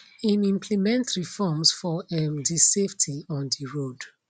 im implement reforms for um di safety on di road